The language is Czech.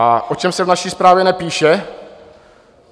A o čem se v naší zprávě nepíše?